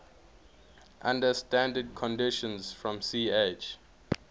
under standard conditions from ch